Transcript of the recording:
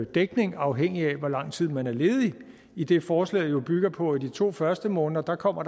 dækning afhængigt af hvor lang tid man er ledig idet forslaget jo bygger på i de to første måneder kommer